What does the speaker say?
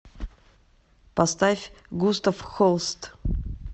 поставь густав холст